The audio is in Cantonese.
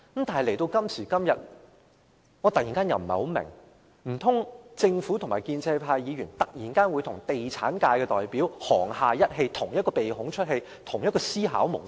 但是，時至今天，我突然有點疑惑，難道政府和建制派議員忽然與地產界代表沆瀣一氣，有同一個思考模式？